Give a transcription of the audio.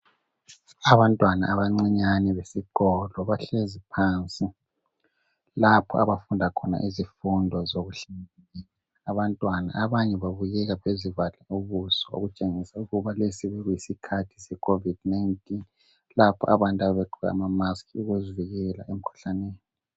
Abantwana abancinyane besikolo bahlezi phansi lapha abafunda khona izifundo zokuhlanzeki . Abanye bazivale ubuso ngamamaski okutshengisa ukuthi lesi yisikhathi secovid 19 abantu ababegqoka amamaski ukuzivikela.